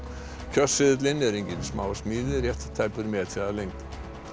kjörseðillinn er engin smásmíði rétt tæpur metri að lengd